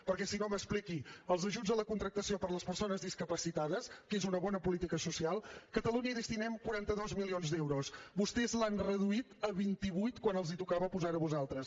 perquè si no m’ho expliqui als ajuts a la contractació per a les persones discapacitades que és una bona política social catalunya hi destinem quaranta dos milions d’euros vostès l’han reduït a vint vuit quan els tocava posarho a vostès